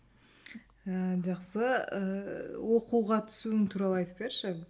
ыыы жақсы ыыы оқуға түсуің туралы айтып берші